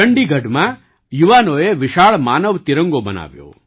ચંડીગઢમાં યુવાનોએ વિશાળ માનવ તિરંગો બનાવ્યો